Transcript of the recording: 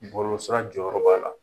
Bɔlɔlɔ sira jɔyɔrɔ b'a la.